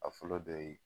A fɔlɔ dɔ ye